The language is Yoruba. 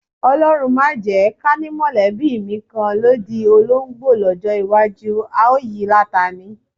O̩ló̩run o jé̩! Ká ní mò̩lé̩bí mi kan ló di olóńgbò ló̩jó̩ iwájú, a ó yi láta ni.